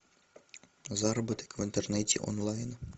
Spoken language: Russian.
заработок в интернете онлайн